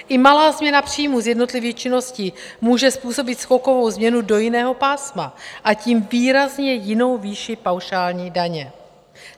I malá změna příjmu z jednotlivých činností může způsobit skokovou změnu do jiného pásma, a tím výrazně jinou výši paušální daně.